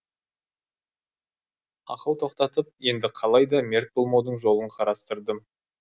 ақыл тоқтатып енді қалайда мерт болмаудың жолын қарастырдым